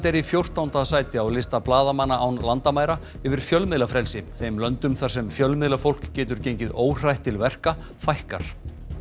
er í fjórtánda sæti á lista blaðamanna án landamæra yfir fjölmiðlafrelsi þeim löndum þar sem fjölmiðlafólk getur gengið óhrætt til verka fækkar